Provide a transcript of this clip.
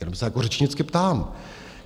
Jenom se jako řečnicky ptám.